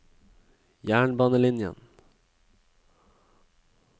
jernbanelinjen